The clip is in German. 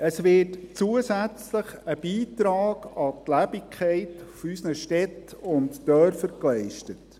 Es wird zusätzlich ein Beitrag an die Lebendigkeit unserer Städte und Dörfer geleistet.